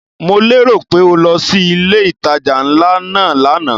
Mo lérò pé o lọ sí ilé ìtajà ńlá náà lánàá?